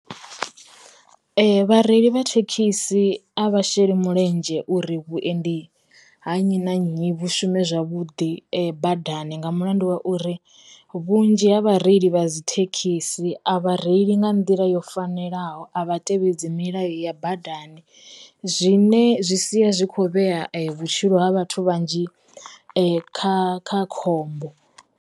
Vhareili vha thekhisi a vha sheli mulenzhe uri vhuendi ha nnyi na nnyi vhu shume zwavhuḓi badani nga mulandu wa uri, vhunzhi ha vha reili vha dzi thekhisi thekhisi a vha reili nga nḓila yo fanelaho a vha tevhedzi milayo ya badani, zwine zwi sia zwi kho vhea vhutshilo ha vhathu vhanzhi kha kha khombo.